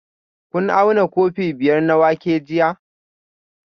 Kun auna kofi biyar na wake jiya?